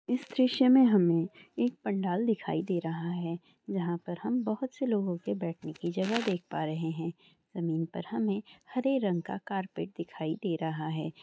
इस दरिक्षे में हमें एक पंडाल दिखाई दे रहा है जहां पर हम बहुत से लोगों के बैठने कि जगह देख प रहे हैं जमीन पर हमें हर रंग का कार्पट दिखाई दे रहा है काई सारे चैर भी यहां पर लगाए गएए हैं बहुत ही सुन्दर और रंग-बीरांग टेंटों से यहां पर साज सजावट कि गई है यह दृश्य अच्छा लग रहा है ।